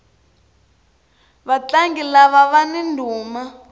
vatlangi lava vani ndhuma